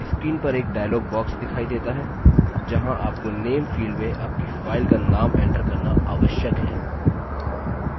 screen पर एक dialog box दिखाई देता है जहाँ आपको name field में आपकी file का name enter करना आवश्यक है